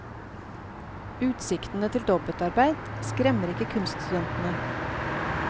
Utsiktene til dobbeltarbeid skremmer ikke kunststudenten.